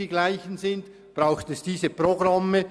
Deshalb braucht es diese Programme.